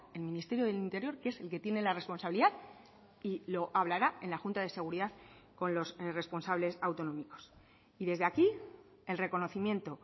el ministerio del interior que es el que tiene la responsabilidad y lo hablará en la junta de seguridad con los responsables autonómicos y desde aquí el reconocimiento